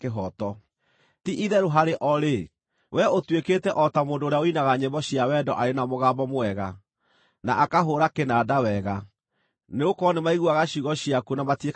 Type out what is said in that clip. Ti-itherũ harĩ o-rĩ, wee ũtuĩkĩte o ta mũndũ ũrĩa ũinaga nyĩmbo cia wendo arĩ na mũgambo mwega, na akahũũra kĩnanda wega, nĩgũkorwo nĩmaiguaga ciugo ciaku no matiĩkaga ũrĩa ciugĩte.